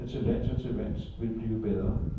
Forholdene til lands og til vands vil blive bedre.